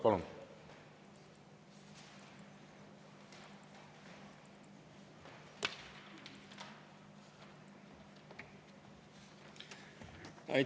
Palun!